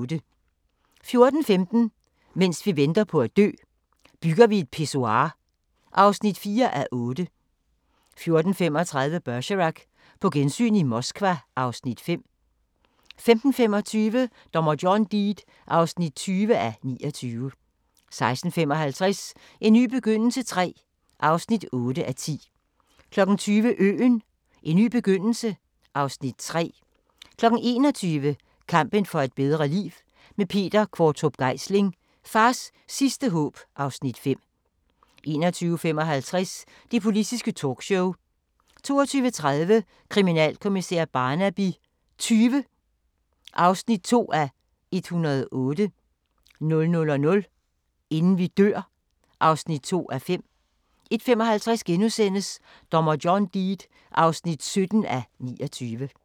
14:15: Mens vi venter på at dø – Bygger vi et pissoir (4:8) 14:35: Bergerac: På gensyn i Moskva (Afs. 5) 15:25: Dommer John Deed (20:29) 16:55: En ny begyndelse III (8:10) 20:00: Øen - en ny begyndelse (Afs. 3) 21:00: Kampen for et bedre liv – med Peter Qvortrup Geisling: Fars sidste håb (Afs. 5) 21:55: Det Politiske Talkshow 22:30: Kriminalkommissær Barnaby XX (2:108) 00:00: Inden vi dør (2:5) 01:55: Dommer John Deed (17:29)*